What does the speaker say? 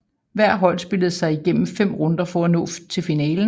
Hvert hold spillede sig igennem fem runder for at nå til finalen